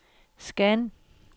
scan